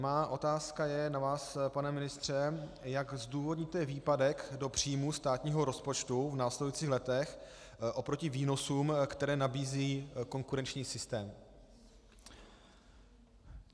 Má otázka je na vás, pane ministře, jak zdůvodníte výpadek do příjmů státního rozpočtu v následujících letech oproti výnosům, které nabízí konkurenční systém.